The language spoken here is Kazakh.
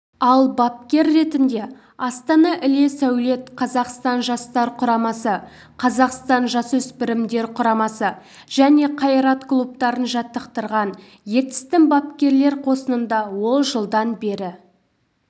ал бапкер ретінде астана іле-сәулет қазақстан жастар құрамасы қазақстан жасөспірімдер құрамасы және қайрат клубтарын жаттықтырған ертістің бапкерлер қосынында ол жылдан бері